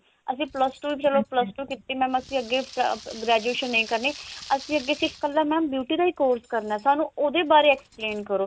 ਅਸੀਂ plus two plus two ਕੀਤੀ mam ਅਸੀਂ ਅੱਗੇ graduation ਨਹੀ ਕਰਨੀ ਅਸੀਂ ਅੱਗੇ ਸਿਰਫ ਕੱਲਾ mam beauty ਦਾ ਹੀ course ਕਰਨਾ ਸਾਨੂੰ ਉਹਦੇ ਬਾਰੇ explain ਕਰੋ